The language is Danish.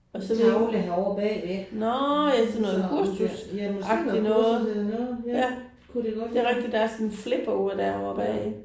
Tavle herovre bagved så ja måske noget kursus eller noget ja kunne det godt være. Ja